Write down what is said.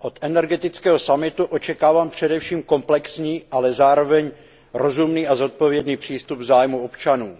Od energetického summitu očekávám především komplexní, ale zároveň rozumný a zodpovědný přístup k zájmům občanů.